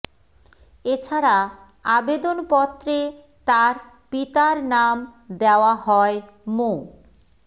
এ ছাড়া আবেদনপত্রে তার পিতার নাম দেওয়া হয় মো